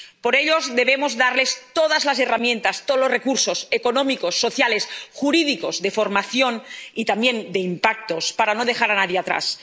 Por ello, debemos darles todas las herramientas, todos los recursos económicos, sociales, jurídicos, de formación, y también de impactos, para no dejar a nadie